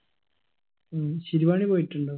ഉം ശിരുവാണി പോയിട്ടുണ്ടോ